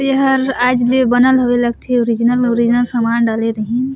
एहर आज लिए बनल हवे ओरिजिनल ओरिजिनल समान डाले रही--